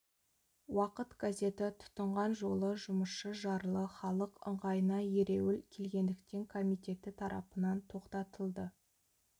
уақыт газеті тұтынған жолы жұмысшы жарлы халық ыңғайына ереуіл келгендіктен комитеті тарапынан тоқтатылды